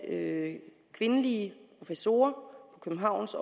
af kvindelige professorer på københavns